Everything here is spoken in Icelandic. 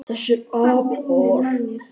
Þessir apar!